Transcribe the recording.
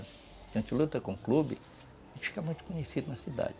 A gente luta com clube, a gente fica muito conhecido na cidade.